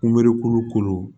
Kumeriku kolo